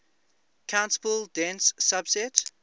countable dense subset